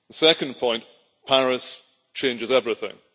The second point Paris changes everything.